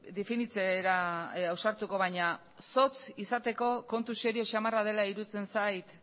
definitzera ausartuko baina zotz izateko kontu serio samarra dela iruditzen zait